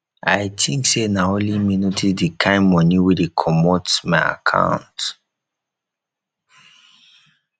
i think say na only me notice the kin money wey dey comot my account